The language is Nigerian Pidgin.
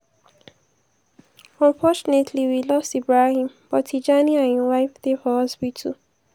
unfortunately we lost ibrahim but tijani and im wife dey for hospital.”